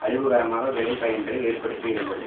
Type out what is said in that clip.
அழிவுகரமாக விளைபயன்களை ஏற்படுத்த இருந்தது